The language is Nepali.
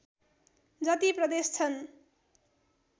जति प्रदेश छन्